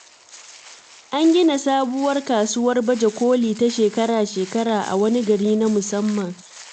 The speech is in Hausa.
An gina sabuwar kasuwar baje koli ta shekara-shekara a wani guri na musamman.